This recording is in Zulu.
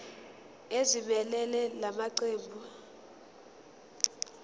ezimelele la maqembu